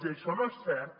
i això no és cert